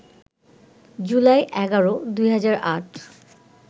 July ১১, ২০০৮